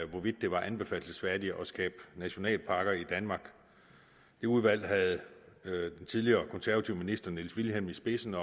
hvorvidt det var anbefalelsesværdigt at skabe nationalparker i danmark udvalget havde den tidligere konservative minister niels wilhjem i spidsen